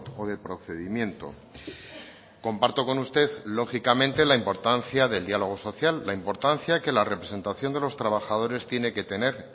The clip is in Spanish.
o de procedimiento comparto con usted lógicamente la importancia del diálogo social la importancia que la representación de los trabajadores tiene que tener